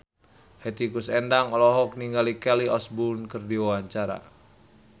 Hetty Koes Endang olohok ningali Kelly Osbourne keur diwawancara